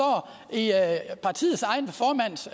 det er i partiets egen formands